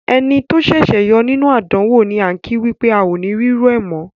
Ẹni tó ṣẹ̀ṣẹ̀ yọ nínú àdánwò ni án kí wípé "ao ni rírú ẹ̀ mọ̀ oo".